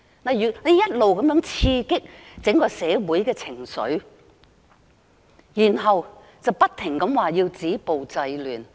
政府一直在刺激整個社會的情緒，然後又不停說要止暴制亂。